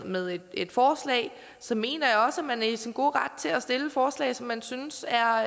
med et forslag så mener jeg også at man er i sin gode ret til at stille forslag som man synes er